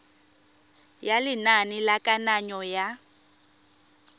ya lenane la kananyo ya